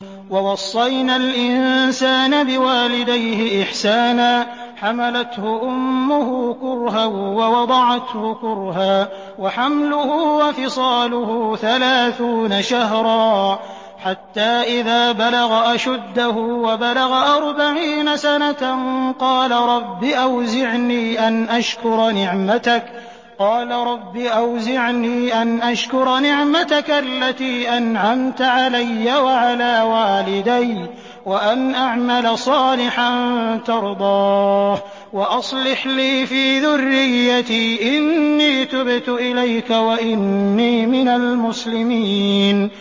وَوَصَّيْنَا الْإِنسَانَ بِوَالِدَيْهِ إِحْسَانًا ۖ حَمَلَتْهُ أُمُّهُ كُرْهًا وَوَضَعَتْهُ كُرْهًا ۖ وَحَمْلُهُ وَفِصَالُهُ ثَلَاثُونَ شَهْرًا ۚ حَتَّىٰ إِذَا بَلَغَ أَشُدَّهُ وَبَلَغَ أَرْبَعِينَ سَنَةً قَالَ رَبِّ أَوْزِعْنِي أَنْ أَشْكُرَ نِعْمَتَكَ الَّتِي أَنْعَمْتَ عَلَيَّ وَعَلَىٰ وَالِدَيَّ وَأَنْ أَعْمَلَ صَالِحًا تَرْضَاهُ وَأَصْلِحْ لِي فِي ذُرِّيَّتِي ۖ إِنِّي تُبْتُ إِلَيْكَ وَإِنِّي مِنَ الْمُسْلِمِينَ